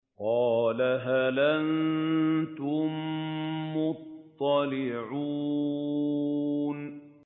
قَالَ هَلْ أَنتُم مُّطَّلِعُونَ